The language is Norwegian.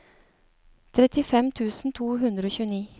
trettifem tusen to hundre og tjueni